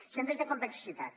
centres de complexitat